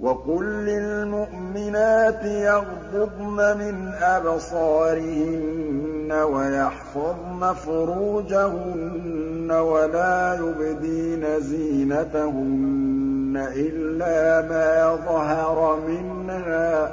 وَقُل لِّلْمُؤْمِنَاتِ يَغْضُضْنَ مِنْ أَبْصَارِهِنَّ وَيَحْفَظْنَ فُرُوجَهُنَّ وَلَا يُبْدِينَ زِينَتَهُنَّ إِلَّا مَا ظَهَرَ مِنْهَا ۖ